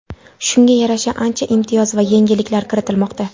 Shunga yarasha ancha imtiyoz va yengilliklar kiritilmoqda.